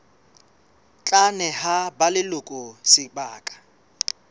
tla neha ba leloko sebaka